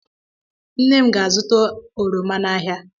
Nne m ga-azụta oroma n'ahịa.